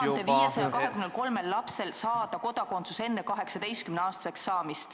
... neil 1523 lapsel saada Eesti kodakondsus enne 18-aastaseks saamist.